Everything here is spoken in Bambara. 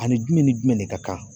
Ani jumɛn ni jumɛn de ka kan